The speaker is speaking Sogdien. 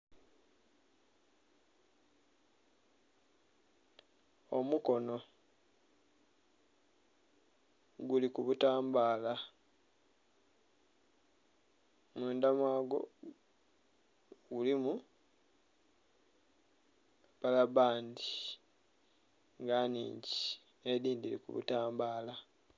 Omukono guli kubutambala mundha mwagwo mulimu labba bbandhi nga nnhigi nhedhindhi dhiri kubu tambula.